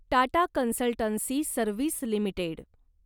Tata consultancy service limited